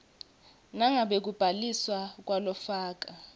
nangabe kubhaliswa kwalofaka